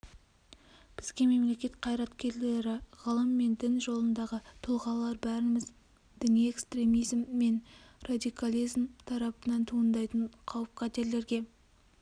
бізге мемлекет қайраткерлері ғылым мен дін жолындағы тұлғалар бәріміз діни экстремизм мен радикализм тарапынан туындайтын қауіп-қатерлерге